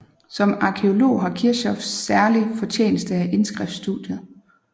Som arkæolog har Kirchhoff særlig fortjeneste af indskriftsstudiet